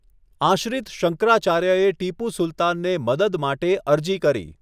આશ્રિત શંકરાચાર્યએ ટીપુ સુલતાનને મદદ માટે અરજી કરી.